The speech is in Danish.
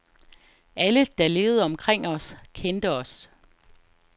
Alle, der levede omkring os, kendte os.